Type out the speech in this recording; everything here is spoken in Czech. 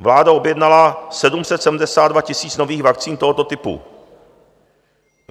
Vláda objednala 772 000 nových vakcín tohoto typu.